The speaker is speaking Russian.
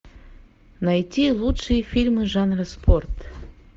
найти лучшие фильмы жанра спорт